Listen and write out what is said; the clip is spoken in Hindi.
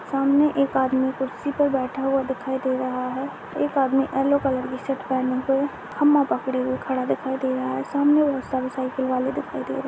सामने एक आदमी कुर्सी पर बैठा हुआ दिखाई दे रहा है। एक आदमी येलो कलर की शर्ट पहने हुए खम्भा पकड़े हुए दिखाई दे रहा है। सामने बहुत सारे साइकिल वाले दिखाई दे रहे है।